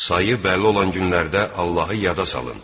Sayı bəlli olan günlərdə Allahı yada salın.